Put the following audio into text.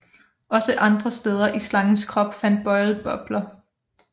Også andre steder i slangens krop fandt Boyle bobler